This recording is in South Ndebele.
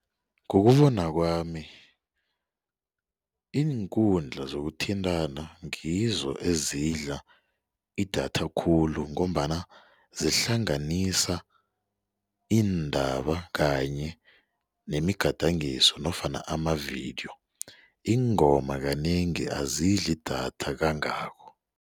Ngokubona kwami iinkundla zokuthintana ngizo ezidla idatha khulu ngombana zihlanganisa iindaba kanye nemigadangiso nofana amavidiyo ingoma kanengi azidli idatha kangako.